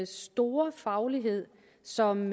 store faglighed som